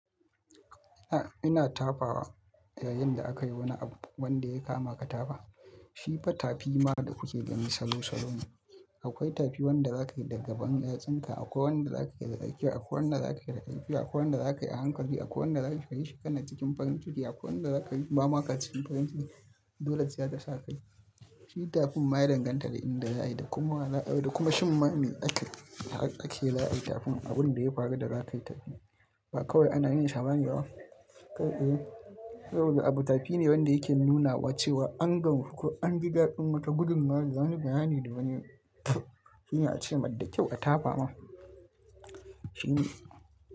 A'a ina tafawa yayin da akayi wani abu wanda ya kama ka tafa. Shi fa tafi ma da kuke gani salo salo ne. Akwai tafi wanda zakayi da gaban yatsinka, akwai wanda zakayi da tsakiya, akwai wanda zakayi da karfi, akwai wanda zakayi a hankali, akwai wanda zakayi shi kana cikin farin ciki, akwai wanda zakayi ba ma ka cikin farin ciki. Dole ce zata sa kayi. Shi tafin ma ya danganta da inda zaayi da kuma lah-- da kuma shimma me ake, ake la'ai itakun. Abunda ya faru da zakayi tafi ba kawai ana yin sa bane ba. Kar eh. Saboda abu tafi ne wanda yake nunawa cewa an gan ku, an riga an mata gudummawa, zan yi gayani da wani shine a ce, matse kyau a tafawa. Shi ne.